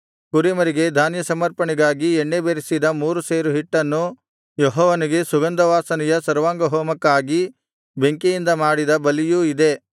ಕುರಿಮರಿಗೆ ಧಾನ್ಯ ಸಮರ್ಪಣೆಗಾಗಿ ಎಣ್ಣೆ ಬೆರಸಿದ ಮೂರು ಸೇರು ಹಿಟ್ಟನ್ನು ಯೆಹೋವನಿಗೆ ಸುಗಂಧವಾಸನೆಯ ಸರ್ವಾಂಗಹೋಮಕ್ಕಾಗಿ ಬೆಂಕಿಯಿಂದ ಮಾಡಿದ ಬಲಿಯೂ ಇದೇ